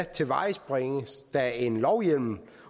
tilvejebringes der en lovhjemmel